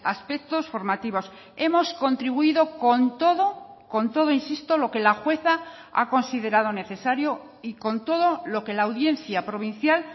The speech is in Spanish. aspectos formativos hemos contribuido con todo con todo insisto lo que la jueza ha considerado necesario y con todo lo que la audiencia provincial